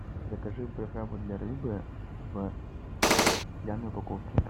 закажи приправу для рыбы в стеклянной упаковке